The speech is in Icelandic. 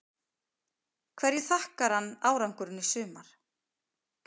Hverju þakkar hann árangurinn í sumar?